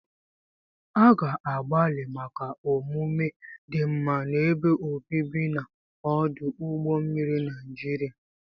A ga-agbalị maka omume dị mma n'ebe obibi na ọdụ ụgbọ mmiri Niajiria.